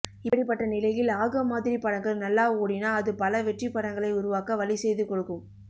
இப்படிப்பட்ட நிலையில் ஆகம் மாதிரி படங்கள் நல்லா ஓடினா அது பல வெற்றிப் படங்களை உருவாக்க வழி செய்து கொடுக்கும்